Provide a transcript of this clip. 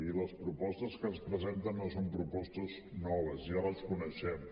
i les propostes que ens presenten no són propostes noves ja les coneixem